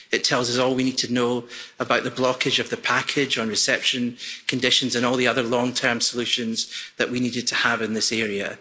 It tells us all we need to know about the blockage of the package on reception conditions and all the other long term solutions that we needed to have in this area.